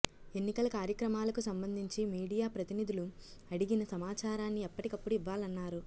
ఎన్నికల కార్యక్రమాలకు సంబంధించి మీడియా ప్రతినిధులు అడిగిన సమాచారాన్ని ఎప్పటికప్పుడు ఇవ్వాలన్నారు